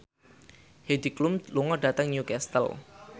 Heidi Klum lunga dhateng Newcastle